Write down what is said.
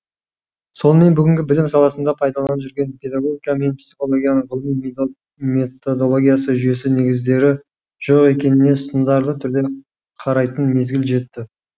сонымен бүгінгі білім саласында пайдаланып жүрген педагогика мен психологияның ғылыми методологиясы жүйесі негіздері жоқ екеніне сындарлы түрде қарайтын мезгіл жетті